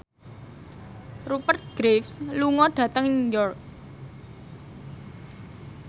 Rupert Graves lunga dhateng York